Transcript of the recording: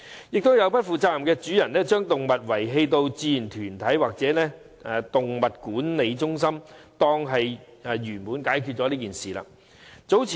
亦有不負責任的主人，把動物遺棄到志願團體或動物管理中心，便以為事情已圓滿解決。